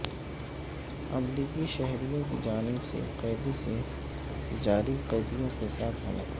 امریکی شہریوں کی جانب سے قیدی سے جاری قیدیوں کے ساتھ ملاقات